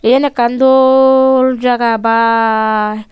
eyen ekan doll jaga baa.